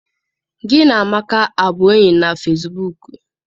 Gị na Amaka abụ enyi na fesibuuku?